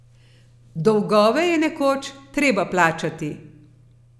Dolgove je nekoč treba plačati.